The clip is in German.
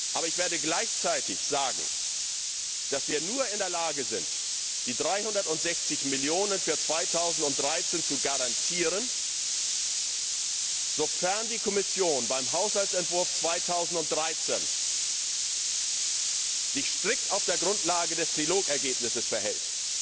Aber ich werde gleichzeitig sagen, dass wir nur in der Lage sind, die 360 Millionen für 2013 zu garantieren, sofern die Kommission sich beim Haushaltsentwurf 2013 strikt auf der Grundlage des Trilogergebnisses verhält